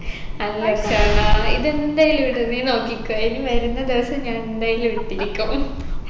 അല്ല അർഷാനാ ഇതെന്തായാലും ഇടും നീ നോക്കിക്കൊ ഇനി വരുന്ന ദിവസം ഞാൻ എന്തായാലും ഇട്ടിരിക്കും